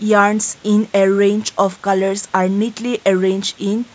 in arrange of colours i neatly arrange in--